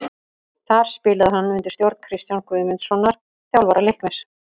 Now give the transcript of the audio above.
Þar spilaði hann undir stjórn Kristjáns Guðmundssonar, þjálfara Leiknis.